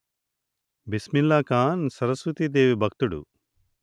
బిస్మిల్లాఖాన్ సరస్వతీ దేవి భక్తుడు